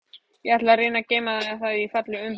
Ég ætla að reyna að geyma það í fallegum umbúðum.